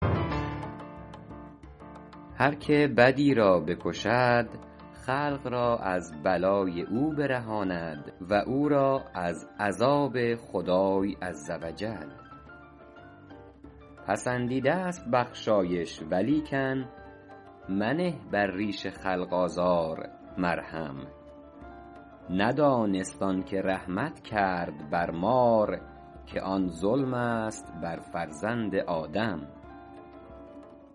هر که بدی را بکشد خلق را از بلای او برهاند و او را از عذاب خدای عز و جل پسندیده ست بخشایش ولیکن منه بر ریش خلق آزار مرهم ندانست آن که رحمت کرد بر مار که آن ظلم است بر فرزند آدم